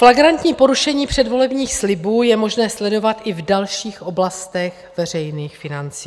Flagrantní porušení předvolebních slibů je možné sledovat i v dalších oblastech veřejných financí.